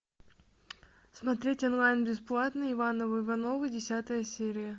смотреть онлайн бесплатно ивановы ивановы десятая серия